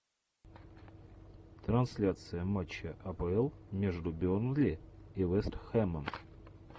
трансляция матча апл между бернли и вест хэмом